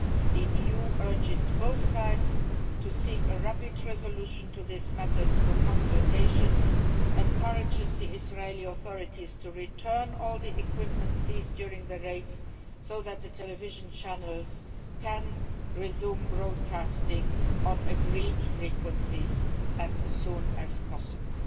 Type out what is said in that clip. The EU urges both sides to seek a rapid resolution to this matter through consultation and encourages the Israeli authorities to return all the equipment seized during the raids so that the television channels can resume broadcasting on agreed frequencies as soon as possible.